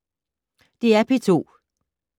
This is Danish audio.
DR P2